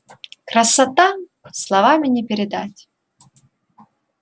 красота словами не передать